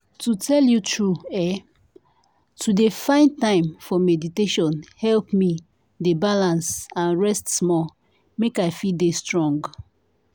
to tell you true eeh! to dey find time for meditation help me dey balance and rest small make i fit dey strong.